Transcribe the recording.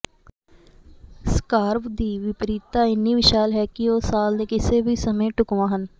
ਸਕਾਰਵ ਦੀ ਵਿਪਰੀਤਤਾ ਇੰਨੀ ਵਿਸ਼ਾਲ ਹੈ ਕਿ ਉਹ ਸਾਲ ਦੇ ਕਿਸੇ ਵੀ ਸਮੇਂ ਢੁਕਵਾਂ ਹਨ